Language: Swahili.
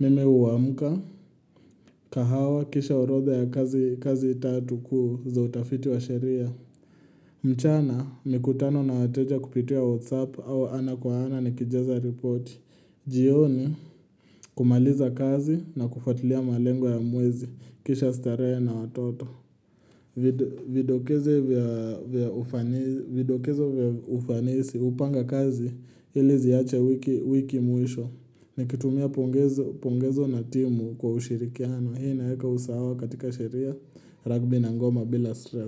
Mimi huamka. Kahawa kisha orodha ya kazi kazi tatu kuu za utafiti wa sheria. Mchana mikutano na wateja kupitia whatsapp au ana kwa ana nikijaza report. Jioni kumaliza kazi na kufuatilia malengo ya mwezi kisha starehe na watoto. Vidokezo vya ufanisi hupanga kazi ili ziache wiki mwisho. Nikitumia pongezo na timu kwa ushirikiano. Hii inaeka usawa katika sheria, ragbi na ngoma bila stress.